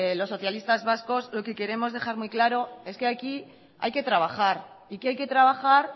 los socialistas vascos lo que queremos dejar muy claro es que aquí hay que trabajar y que hay que trabajar